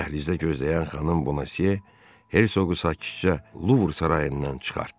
Dəhlizdə gözləyən xanım Bonasiye hersoqu sakitcə Luvr sarayından çıxartdı.